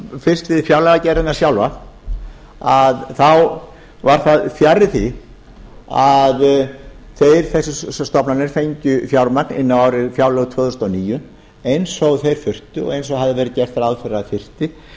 fyrst við fjárlagagerðina sjálfa þá var fjarri því að þessar stofnanir fengju fjármagn inn á fjárlög tvö þúsund og níu eins og þeir þurftu og eins og hafði verið gert ráð fyrir